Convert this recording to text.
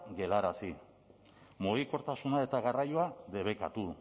geldiarazi mugikortasuna eta garraioa debekatu